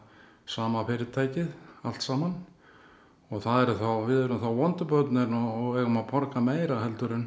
sama fyrirtækið allt saman og við erum þá vondu börnin og eigum að borga meira